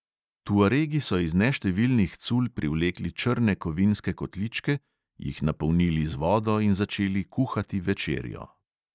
Tuaregi so iz neštevilnih cul privlekli črne kovinske kotličke, jih napolnili z vodo in začeli kuhati večerjo.